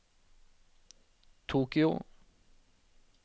Tokyo